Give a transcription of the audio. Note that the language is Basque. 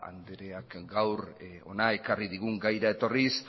andreak gaur hona ekarri digun gaira etorriz